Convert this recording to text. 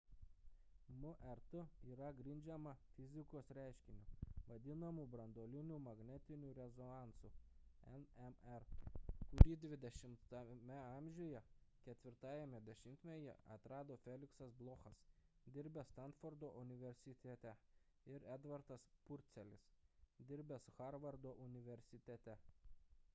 mrt yra grindžiama fizikos reiškiniu vadinamu branduoliniu magnetiniu rezonansu nmr kurį xx a. 4-ajame dešimtmetyje atrado feliksas blochas dirbęs stanfordo universitete ir edvardas purcelis dirbęs harvardo universitete